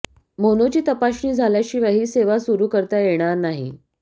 मोनोची तपासणी झाल्याशिवाय ही सेवा सुरू करता येणार नाही